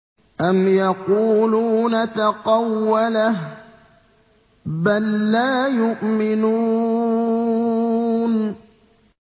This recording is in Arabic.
أَمْ يَقُولُونَ تَقَوَّلَهُ ۚ بَل لَّا يُؤْمِنُونَ